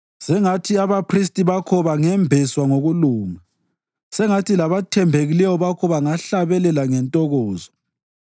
Sengathi abaphristi bakho bangembeswa ngokulunga; sengathi labathembekileyo bakho bangahlabelela ngentokozo.”